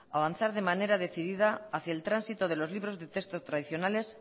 avanzar de manera decidida hacia el tránsito de los libros de texto tradicionales